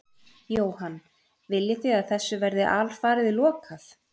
Jóhann: Viljið þið að þessu verði alfarið lokað?